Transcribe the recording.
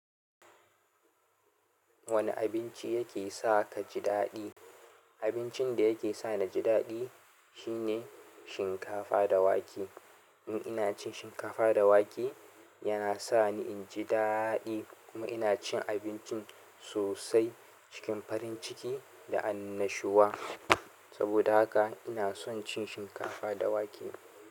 Wane abinci yake sa ka ji daɗi? Abincin da yake sa na ji daɗi shine shinkafa da wake. In ina cin shinkafa da wake yana sa ni in ji daɗi kuma ina cin abincin sosai cikin farin ciki da annashuwa. Saboda haka ina son cin shinkafa da wake.